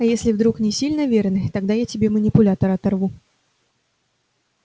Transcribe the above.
а если вдруг не сильно верный тогда я тебе манипулятор оторву